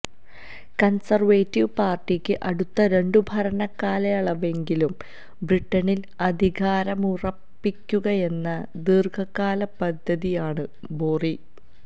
conservative പാർട്ടിക്ക് അടുത്ത രണ്ടു ഭരണകാലയളവെങ്കിലും ബ്രിട്ടനിൽ അധികാരമുറപ്പിക്കുകയെന്ന ദീർഘകാല പദ്ധതിയാണ് ബോറി